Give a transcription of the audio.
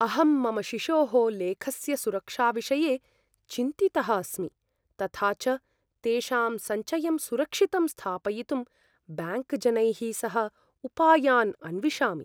अहं मम शिशोः लेखस्य सुरक्षाविषये चिन्तितः अस्मि, तथा च तेषां सञ्चयं सुरक्षितं स्थापयितुं ब्याङ्क्जनैः सह उपायान् अन्विषामि।